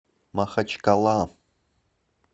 махачкала